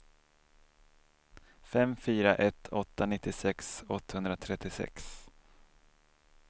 fem fyra ett åtta nittiosex åttahundratrettiosex